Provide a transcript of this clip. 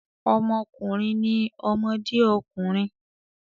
Ọmọkùnrin ni ọmọdé ọkùnrin.